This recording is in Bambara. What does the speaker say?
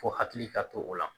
Fo hakili ka to o la